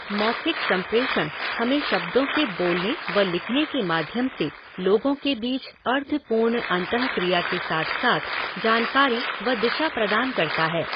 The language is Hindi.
मौखिक संप्रेषण हमें शब्दों के बोलने व लिखने के माध्यम से लोगों के बीच अर्थपूर्ण अन्तःक्रिया के साथ साथ जानकारी व दिशा प्रदान करता है।